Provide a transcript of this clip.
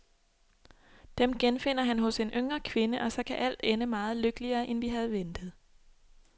Dem genfinder han hos en yngre kvinde, og så kan alt ende meget lykkeligere, end vi havde ventet.